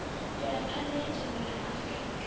mvelaphanḓa ya dzhango ḽa afurika